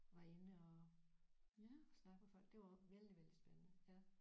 Var inde og og snakke med folk det var vældig vældig spændende ja